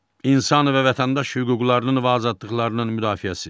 İnsan və vətəndaş hüquqlarının və azadlıqlarının müdafiəsi.